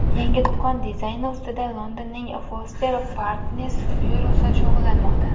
Yangi do‘kon dizayni ustida Londonning Foster + Partners byurosi shug‘ullanmoqda.